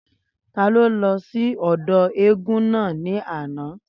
Taló lọ sí ọ̀dọ̀ eégún náà ní àná?